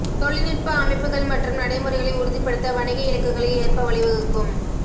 தொழில்நுட்ப அமைப்புகள் மற்றும் நடைமுறைகளை உறுதிப்படுத்த வணிக இலக்குகளை ஏற்ப வழிவகுக்கும்